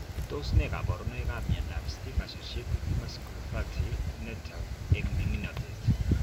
Tos ne kaborunoikap miondop STING associated vasculopathy netouge eng' ming'inotet